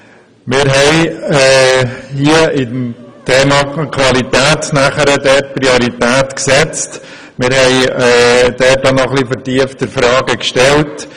Wir haben nun beim Thema «Qualität» eine Priorität gesetzt und vertieftere Fragen gestellt.